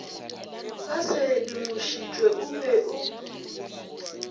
ba sedimošitšwe o be o